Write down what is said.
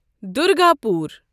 Durgapur